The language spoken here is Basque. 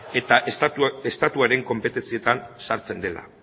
eta estatuaren konpetentzietan sartzen dela